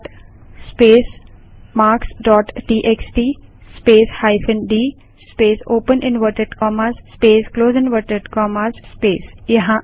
cut space marks dot TXT space hyphen D space open inverted commas space close inverted commas space